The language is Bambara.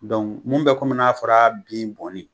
mun bɛ kɔmi n'a fɔra bin bɔnni.